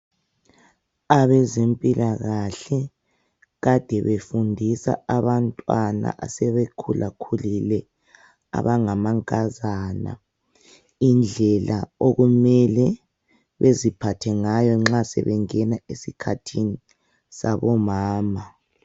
Abezempilakahle kade befundisa abantwana asebekhulakhulile abangamankazana indlela okumele beziphathe ngayo nxa sebengena esikhathini sabomama.